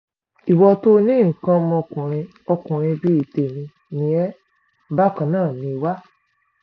ìwọ tó o ní nǹkan ọmọkùnrin ọkùnrin bíi tèmi ni ẹ́ bákan náà ni wá